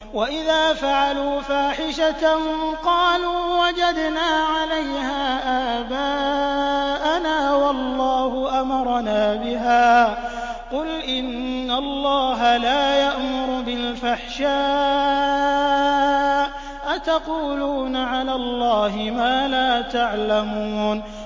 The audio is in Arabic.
وَإِذَا فَعَلُوا فَاحِشَةً قَالُوا وَجَدْنَا عَلَيْهَا آبَاءَنَا وَاللَّهُ أَمَرَنَا بِهَا ۗ قُلْ إِنَّ اللَّهَ لَا يَأْمُرُ بِالْفَحْشَاءِ ۖ أَتَقُولُونَ عَلَى اللَّهِ مَا لَا تَعْلَمُونَ